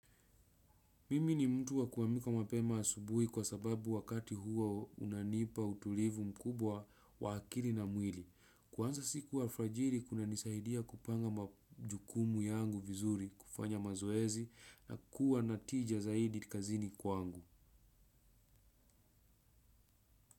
Mimi ni mtu wa kuamka mapema asubui kwasababu wakati huo unanipa utulivu mkubwa wa akili na mwili. Kuanza siku alfajiri kunanisaidia kupanga majukumu yangu vizuri kufanya mazoezi na kuwa natija zaidi kazini kwangu.